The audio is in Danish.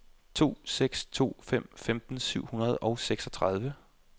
to seks to fem femten syv hundrede og seksogtredive